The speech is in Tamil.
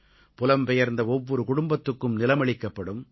புலம் பெயர்ந்த ஒவ்வொரு குடும்பத்துக்கும் நிலம் அளிக்கப்படும்